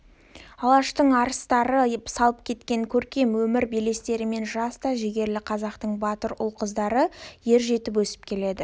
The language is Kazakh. алаштың арыстары салып кеткен көркем өмір белестерімен жас та жігерлі қазақтың батыр ұл – қыздары ер жетіп өсіп келеді